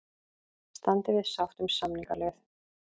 Standi við sátt um samningaleið